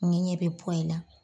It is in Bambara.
Ne ɲɛ bɛ in na.